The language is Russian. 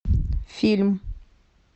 фильм